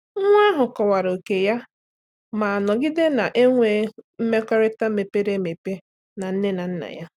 Nwa ahụ kọwara oke ya ma nọgide na-enwe mmekọrịta mepere emepe na nne na nna ya.